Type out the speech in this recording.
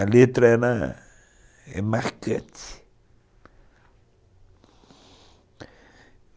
A letra era,,, é marcante.